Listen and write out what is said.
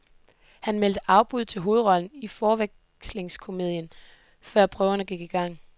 Han meldte afbud til hovedrollen i forvekslingskomedien, før prøverne gik i gang.